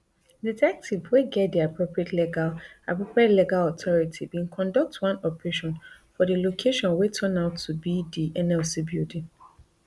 detectives wey get di appropriate legal appropriate legal authority bin conduct one operation for di location wey turn out to be di nlc building